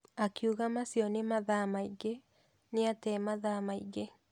Akiuga macio nĩ mathaa maingĩ, nĩate mathaa maingĩ.